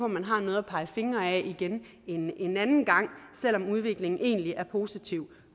man har noget at pege fingre ad igen en anden gang selv om udviklingen egentlig er positiv